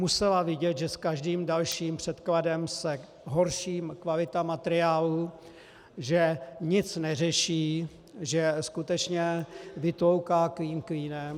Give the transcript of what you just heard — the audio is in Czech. Musela vidět, že s každým dalším předkladem se horší kvalita materiálu, že nic neřeší, že skutečně vytlouká klín klínem.